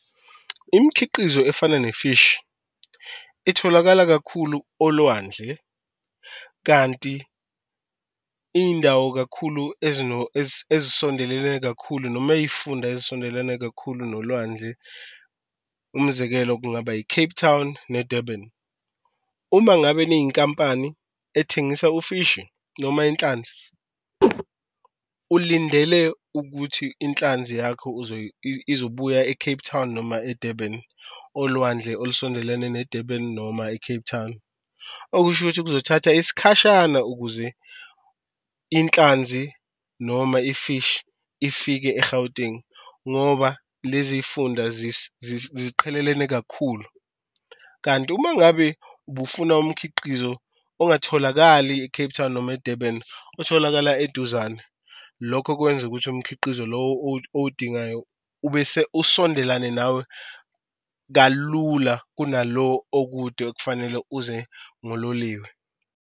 Imkhiqizo efana nefishi itholakala kakhulu olwandle kanti iyindawo kakhulu ezisondelene kakhulu noma ey'funda ezisondelene kakhulu nolwandle umzekelo kungaba i-Cape Town ne-Durban. Uma ngabe niyinkampani ethengisa ufishi noma inhlanzi ulindele ukuthi inhlanzi yakho izobuya e-Cape Town noma e-Durban olwandle olusondelene ne-Durban noma i-Cape town. Okusho ukuthi kuzothatha isikhashana ukuze inhlanzi noma ifishi ifike e-Gauteng ngoba lezi y'funda ziqhelelene kakhulu, kanti uma ngabe ubufuna umkhiqizo ongatholakali e-Cape Town noma e-Durban otholakala eduzane. Lokho kwenza ukuthi umkhiqizo lo owudingayo ubese usondelene nawe kalula kunalo okude okufanele uze ngololiwe.